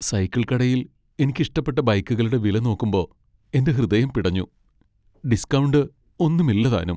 Cycle കടയിൽ എനിക്കിഷ്ടപ്പെട്ട ബൈക്കുകളുടെ വില നോക്കുമ്പോ എന്റെ ഹൃദയം പിടഞ്ഞു. ഡിസ്കൌണ്ട് ഒന്നുമില്ലതാനും.